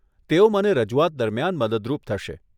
તેઓ મને રજૂઆત દરમિયાન મદદરૂપ થશે.